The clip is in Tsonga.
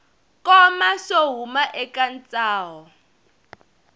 koma swo huma eka ntsaho